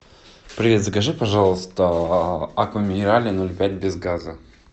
привет закажи пожалуйста аква минерале ноль пять без газа